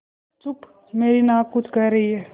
चुप मेरी नाक कुछ कह रही है